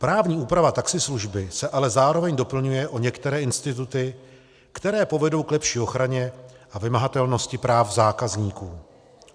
Právní úprava taxislužby se ale zároveň doplňuje o některé instituty, které povedou k lepší ochraně a vymahatelnosti práv zákazníků.